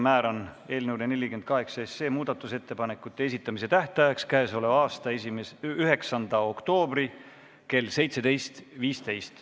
Määran eelnõu 48 kohta muudatusettepanekute esitamise tähtajaks k.a 9. oktoobri kell 17.15.